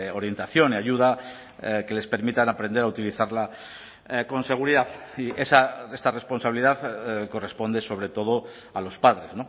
orientación y ayuda que les permitan aprender a utilizarla con seguridad y esta responsabilidad corresponde sobre todo a los padres